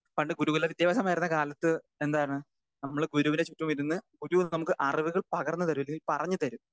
Speaker 2 പണ്ട് ഗുരുകുലവിദ്യാഭ്യാസമായിരുന്ന കാലത്ത് എന്താണ് നമ്മള് ഗുരുവിന് ചുറ്റുമിരുന്ന് ഗുരു നമുക്ക് അറിവുകൾ പകർന്നു തരും അല്ലെങ്കിൽ പറഞ്ഞുതരും.